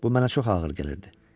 Bu mənə çox ağır gəlirdi.